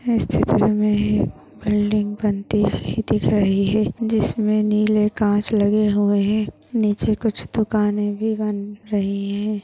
इस चित्र मे एक बिल्डिंग बनती हुई दिख रही है जिसमे नीले काँच लगे हुए है नीचे कुछ दुकाने भी बन रही है।